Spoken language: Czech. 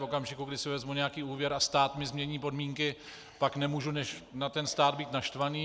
V okamžiku, kdy si vezmu nějaký úvěr a stát mi změní podmínky, pak nemůžu než na ten stát být naštvaný.